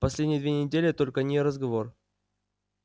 последние две недели только о ней и разговор